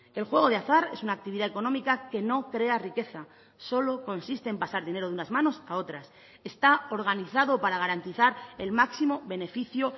el juego de azar es una actividad económica que no crea riqueza solo consiste en pasar dinero de unas manos a otras está organizado para garantizar el máximo beneficio